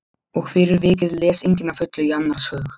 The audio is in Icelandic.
Og fyrir vikið les enginn að fullu í annars hug.